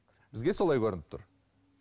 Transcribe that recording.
бізге солай көрініп тұр